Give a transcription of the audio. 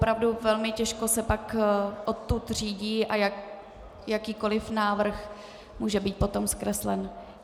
Opravdu velmi těžko se pak odtud řídí a jakýkoliv návrh může být potom zkreslen.